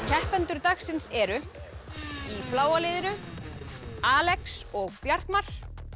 keppendur dagsins eru í bláa liðinu Alex og Bjartmar